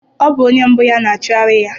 Ọ bụ onye mbụ ya na-achụgharị ya.